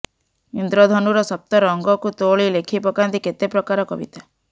ଇନ୍ଦ୍ରଧନୁର ସପ୍ତ ରଙ୍ଗକୁ ତୋଳି ଲେଖି ପକାନ୍ତି କେତେ ପ୍ରକାର କବିତା